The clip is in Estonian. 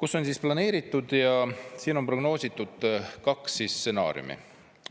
kus on planeeritud ja siin on prognoositud kaks stsenaariumi.